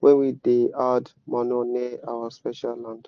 wen we da add manure near our special land